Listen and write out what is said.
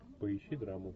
поищи драму